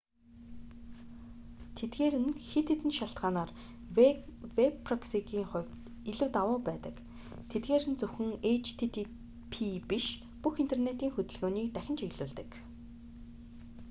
тэдгээр нь хэд хэдэн шалтгаанаар вэб проксигийн хувьд илүү давуу байдаг тэдгээр нь зөвхөн http биш бүх интернэтийн хөдөлгөөнийг дахин чиглүүлдэг